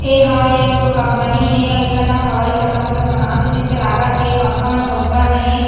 एहा एकठो कंपनी हे एक्नो हवाईजहाज ला बनात हे जैसे लागत हे पंखा मन ऊपर में हे।